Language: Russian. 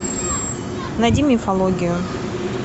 найди мифологию